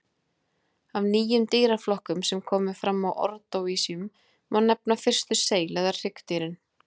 Af nýjum dýraflokkum sem komu fram á ordóvísíum má nefna fyrstu seil- eða hryggdýrin.